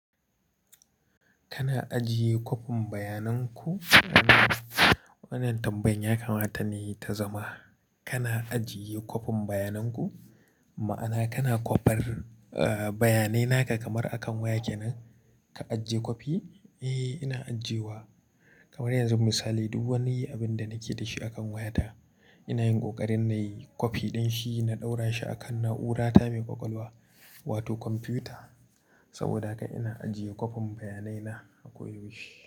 Kana ajiye kwafin bayanan ku? Wannan tambayar yakamata ne ta zama. Kana ajiye kwafin bayanan ku? Ma'ana kana kwafar, eh, bayanai naka kamar akan waya kenan ka ajiye kwafi? Eh, ina ajiyewa. Kamar yanzu misali duk wani abinda nake da shi akan wayata ina yin ƙoƙarin nayi kwafi ɗin shi na ɗaura shi a kan na'urata mai ƙwaƙwalwa wato kwamfuta. Sabida haka ina ajiye kwafin bayanai na a koda yaushe.